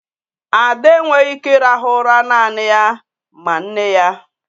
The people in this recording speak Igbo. Ade enweghị ike ịrahụ ụra naanị ya ma nne ya.